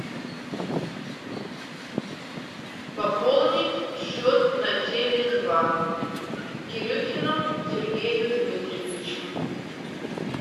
пополнить счет на теле два кирюхину сергею дмитриевичу